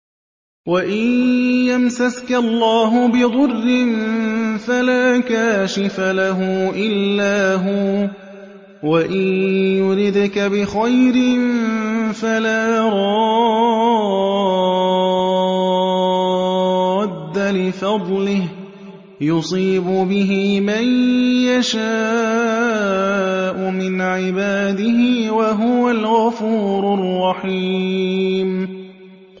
وَإِن يَمْسَسْكَ اللَّهُ بِضُرٍّ فَلَا كَاشِفَ لَهُ إِلَّا هُوَ ۖ وَإِن يُرِدْكَ بِخَيْرٍ فَلَا رَادَّ لِفَضْلِهِ ۚ يُصِيبُ بِهِ مَن يَشَاءُ مِنْ عِبَادِهِ ۚ وَهُوَ الْغَفُورُ الرَّحِيمُ